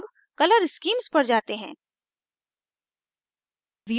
अब color schemes पर जाते हैं